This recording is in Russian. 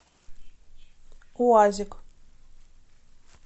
уазик